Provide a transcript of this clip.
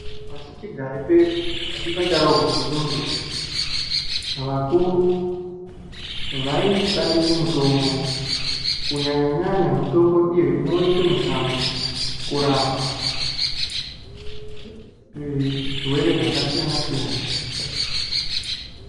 Pashi chigare pedu pashi pacharohwa ngenyundo vakuru vaishandise mitombo kunyanya nyanya, mitombo iyo inooneka mushango kurapa zvirwere zvaka siyana siyana.